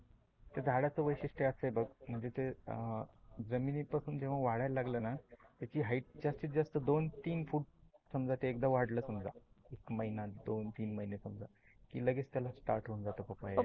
त्या झाडाचे वैशिष्ठ असते बघ म्हणजे ते अह जमिनी पासुन जेव्हा वाढायला लागल न, त्याची हाईट जास्तीत जास्त दोन तीन फूट समजा ते वाढल समजा एक महिना दोन तीन महिने समजा की लगेच त्याला स्टार्ट होऊन जात पपया यायला.